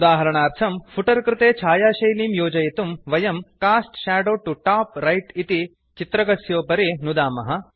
उदाहरणार्थम् फुटर् कृते छायाशैलीं योजयितुं वयं cast shadow to top right इति चित्रकस्योपरि नुदामः